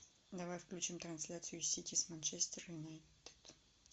давай включим трансляцию сити с манчестер юнайтед